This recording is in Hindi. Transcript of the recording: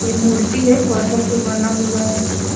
इ मूर्ति है पत्थल के बना हुआ है पूरा।